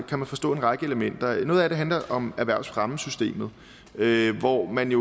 kan man forstå en række elementer noget af det handler om erhvervsfremmesystemet hvor man i